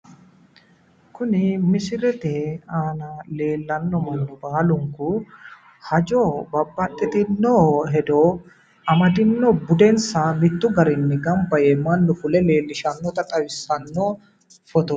Kuni misilete aana leellanno mannu baalu hajo babbaxxitinno hedo amadino bedensa mittu garinni gamba yee mannu fule leellishshannota xawissanno fotooti.